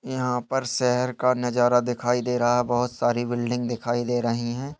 यहाँ पर शहर का नजारा दिखाई दे रहा है बहुत सारी बिल्डिंग दिखाई दे रहीं हैं।